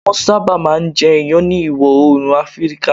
Wọ́n sábà máa ń jẹ iyan ní Ìwọ̀ Oòrùn Áfíríkà